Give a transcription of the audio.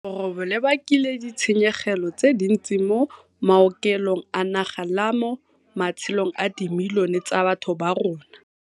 Leroborobo le bakile ditshenyegelo tse dintsi mo maokelong a naga le mo matshelong a dimilione tsa batho ba rona.